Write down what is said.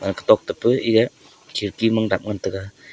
kha tok ta pu eaya khirki mang dap ngan taega.